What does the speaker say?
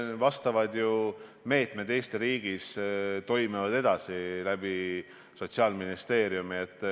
Vastavad meetmed toimivad ju läbi Sotsiaalministeeriumi edasi.